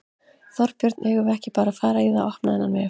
Þorbjörn: Eigum við ekki bara að fara í það að opna þennan vef?